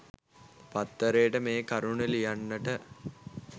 පත්තරේට මේ කරුණු ලියන්නට